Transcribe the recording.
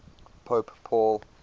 pope paul